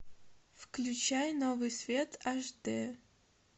включай новый свет аш дэ